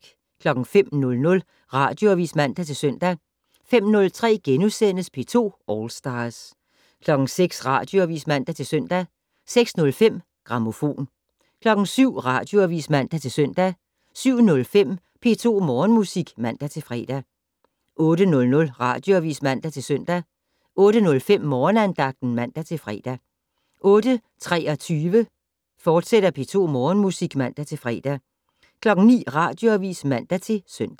05:00: Radioavis (man-søn) 05:03: P2 All Stars * 06:00: Radioavis (man-søn) 06:05: Grammofon 07:00: Radioavis (man-søn) 07:05: P2 Morgenmusik (man-fre) 08:00: Radioavis (man-søn) 08:05: Morgenandagten (man-fre) 08:23: P2 Morgenmusik, fortsat (man-fre) 09:00: Radioavis (man-søn)